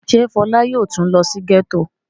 Ṣé Fọlá yóò tún lọ sí gẹ́tò?